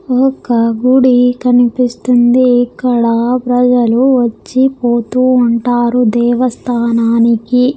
ఒక గుడి కనిపిస్తుంది ఇక్కడ ప్రజలు వచ్చి పోతూ ఉంటారు దేవస్థానానికి.